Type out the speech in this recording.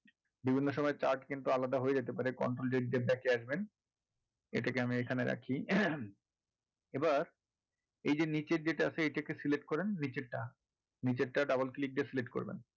বিভিন্ন সময় chart কিন্তু আলাদা হয়ে যেতে পারে control z দিয়ে নিয়ে আসবেন এটাকে আমি এখানে রাখি এবার এই যে নিচের যেটা আছে সেটাকে select করেন নিচেরটা নিচেরটা double click দিয়ে select করবেন